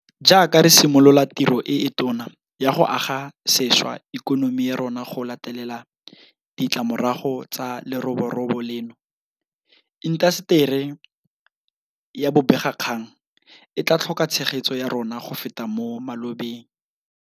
Jaaka re simolola tiro e e tona ya go aga sešwa ikonomi ya rona go latela ditlamorago tsa leroborobo leno, intaseteri ya bobegakgang e tla tlhoka tshegetso ya rona go feta mo malobeng.